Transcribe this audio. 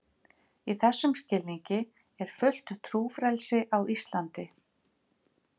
Í þessum skilningi er fullt trúfrelsi á Íslandi.